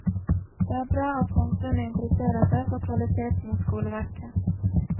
Det er bra at samfunnet interesserer seg for kvaliteten i skoleverket.